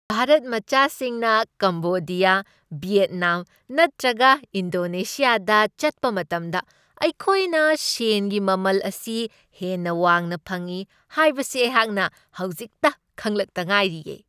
ꯚꯥꯔꯠ ꯃꯆꯥꯁꯤꯡꯅ Cambodia, Vietnam ꯅꯠꯇ꯭ꯔꯒ ꯏꯟꯗꯣꯅꯦꯁ꯭ꯌꯥꯗ ꯆꯠꯄ ꯃꯇꯝꯗ ꯑꯩꯈꯣꯏꯅ ꯁꯦꯟꯒꯤ ꯃꯃꯜ ꯑꯁꯤ ꯍꯦꯟꯅ ꯋꯥꯡꯅ ꯐꯪꯢ ꯍꯥꯏꯕꯁꯤ ꯑꯩꯍꯥꯛꯅ ꯍꯧꯖꯤꯛꯇ ꯈꯪꯂꯛꯇ ꯉꯥꯏꯔꯤꯌꯦ ꯫